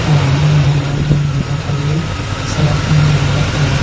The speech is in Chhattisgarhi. ओ आदमी मन ह नान नान दिखत हावे हे सड़क में रेंगत हावे हे।